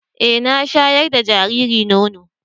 E, na shaƴar da jariri nono.